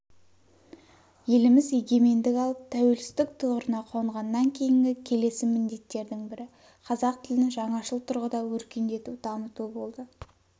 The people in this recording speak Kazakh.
еліміз егемендік алып тәуелсіздік тұғырына қонғаннан кейінгі келеcі міндеттердің бірі қазақ тілін жаңашыл тұрғыда өркендету дамыту болды